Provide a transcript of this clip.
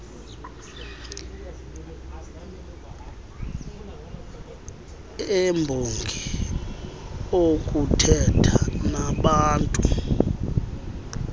embongi okuthetha nabaantu